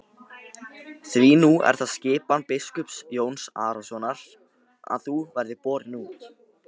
Því nú er það skipan biskups Jóns Arasonar að þú verðir borin út.